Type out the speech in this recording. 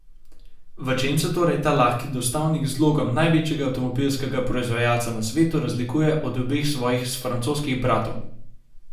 V čem se torej ta lahki dostavnik z logom največjega avtomobilskega proizvajalca na svetu razlikuje od obeh svojih francoskih bratov?